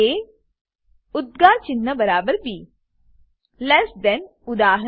એ ઉદ્દગાર ચિન્હ બરાબર બી લેસ થાન લેસ ધેન ઉદા